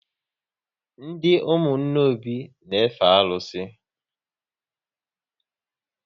Ndị ụmụnna Obi n efe arụsị